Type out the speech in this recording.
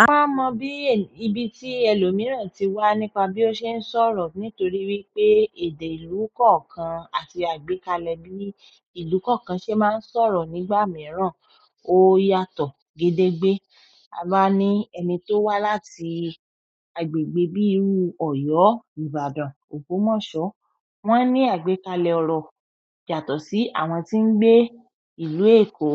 A máa mọ bí i ibi tí ẹlòmíràn ti wá nípa bí ó ṣe ń sọ̀rọ̀ nítorí wípé èdè ìlú kọ̀ọ̀kan àti àgbékalẹ̀ bí ìlú kọ̀ọ̀kan ṣe máa ń sọ̀rọ̀ nígbà mìíràn ó yàtọ̀ gédégbé. A bá ní ẹni tó wá láti agbègbè bíi ìru Ọ̀yọ́, Ìbàdàn, Ògbómọ̀ṣọ́, wọ́n ní àgbékalẹ̀ ọ̀rọ̀ yàtọ̀ sí àwọn tí ń gbé ìlú Èkó